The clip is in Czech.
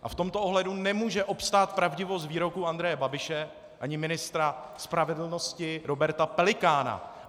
A v tomto ohledu nemůže obstát pravdivost výroku Andreje Babiše ani ministra spravedlnosti Roberta Pelikána.